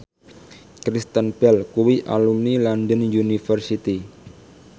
Kristen Bell kuwi alumni London University